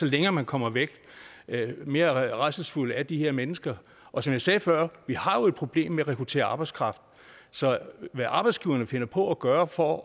længere man kommer væk jo mere rædselsfulde er de her mennesker og som jeg sagde før vi har jo et problem med at rekruttere arbejdskraft så hvad arbejdsgiverne finder på at gøre for